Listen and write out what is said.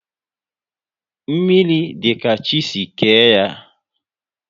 Mmiri dị ka chi si kee ya